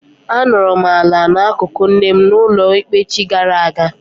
A nọrọ m ala n'akụkụ nne m n'ụlọ ikpe echi gara aga.